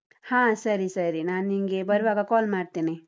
ಹಾ ಸರಿ ಸರಿ, ನಾನಿಂಗೆ ಬರುವಾಗ call ಮಾಡ್ತೇನೆ.